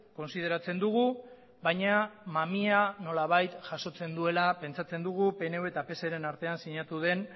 kontsideratzen dugu baina mamia nolabait jasotzen duela pentsatzen dugu pnv eta pseren artean sinatu den